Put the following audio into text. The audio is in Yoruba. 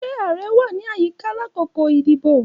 Ṣe ààrẹ wa ni ayika lakoko idibo?